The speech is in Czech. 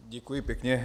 Děkuji pěkně.